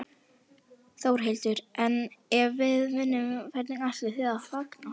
Þórhildur: En ef við vinnum, hvernig ætlið þið að fagna?